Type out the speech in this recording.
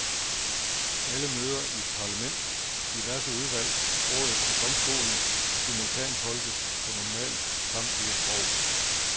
Alle møder i parlament, diverse udvalg, rådet og domstolen simultantolkes på normalt samtlige sprog.